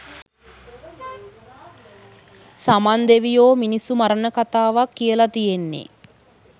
සමන් දෙවියෝ මිනිස්සු මරණ කතාවක් කියල තියෙන්නේ?